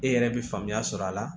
E yɛrɛ bɛ faamuya sɔrɔ a la